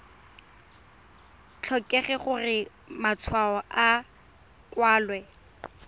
tlhokege gore matshwao a kwalwe